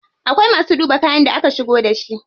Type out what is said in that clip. Akwai masu duba kayan da aka shigo da shi.